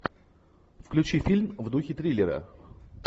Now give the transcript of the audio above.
включи фильм в духе триллера